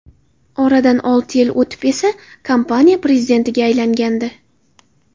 Oradan olti yil o‘tib esa kompaniya prezidentiga aylangandi.